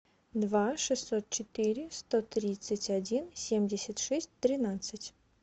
два шестьсот четыре сто тридцать один семьдесят шесть тринадцать